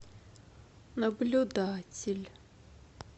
наблюдатель